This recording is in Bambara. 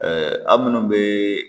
a minnu bɛ